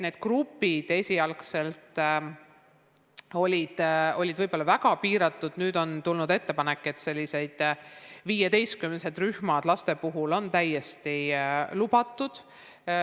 Need grupid esialgu olid väga piiratud, nüüd on tulnud ettepanek, et viieteistkümnesed lasterühmad on lubatud.